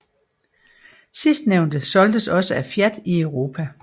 Sidstnævnte solgtes også af Fiat i Europa